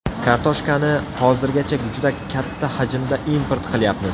Kartoshkani hozirgacha juda katta hajmda import qilyapmiz.